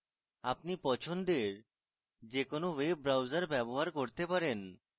আপনি পছন্দের যে কোনো web browser ব্যবহার করতে পারেন